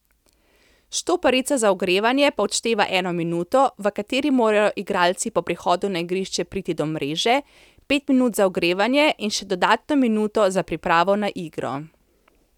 Štoparica za ogrevanje pa odšteva eno minuto, v kateri morajo igralci po prihodu na igrišče priti do mreže, pet minut za ogrevanje in še dodatno minuto za pripravo na igro.